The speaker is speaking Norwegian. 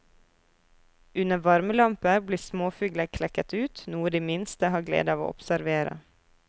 Under varmelamper blir småfugler klekket ut, noe de minste har glede av å observere.